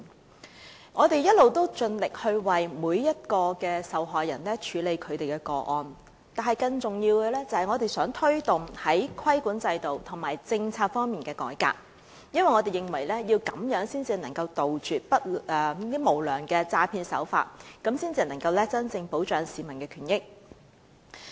雖然我們一直盡力為每名受害人處理個案，但更重要的是我們想推動在規管制度和政策方面的改革，因為這樣才能杜絕無良的詐騙手法，真正保障市民權益。